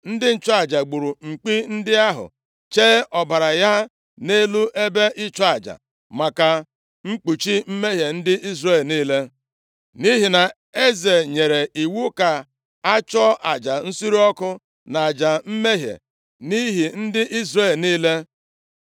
Ndị nchụaja gburu mkpi ndị ahụ, chee ọbara ha nʼelu ebe nchụaja maka ikpuchi mmehie ndị Izrel niile. Nʼihi na eze nyere iwu ka a chụọ aja nsure ọkụ na aja mmehie nʼihi ndị Izrel niile.